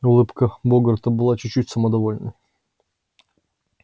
улыбка богарта была чуть-чуть самодовольной